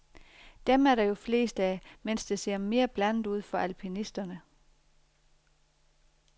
Dem er der jo flest af, mens det ser mere blandet ud for alpinisterne.